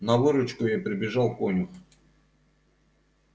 на выручку ей прибежал конюх